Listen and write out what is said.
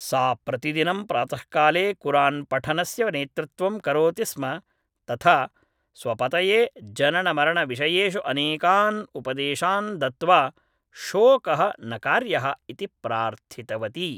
सा प्रतिदिनं प्रातःकाले कुरान्पठनस्य नेतृत्वं करोति स्म तथा स्वपतये जननमरणविषयेषु अनेकान् उपदेशान् दत्त्वा शोकः न कार्यः इति प्रार्थितवती